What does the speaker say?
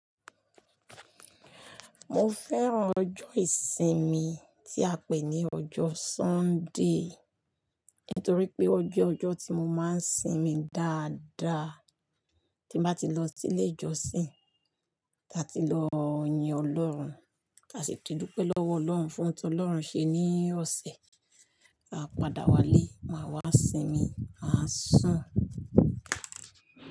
Mo fẹ́ràn ọjọ́ ìsinmi tí a pè ní ọjọ́ Sunday, nítorí pé ó jẹ́ ọjọ́ tí mo máa ń sinmi dáadáa tí n bá ti lọ sílé ìjọsìn, ta ti lọ yin Ọlọ́run, ta sì ti dúpẹ́ lọ́wọ́ Ọlọ́hun fohun tí Ọlọ́run ṣe ní ọ̀sẹ̀, á padà wálé, máa wá sinmi, á sùn.